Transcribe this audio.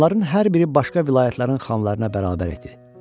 Onların hər biri başqa vilayətlərin xanlarına bərabər idi.